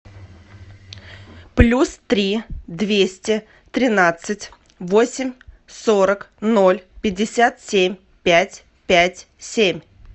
плюс три двести тринадцать восемь сорок ноль пятьдесят семь пять пять семь